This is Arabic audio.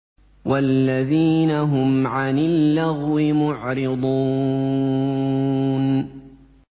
وَالَّذِينَ هُمْ عَنِ اللَّغْوِ مُعْرِضُونَ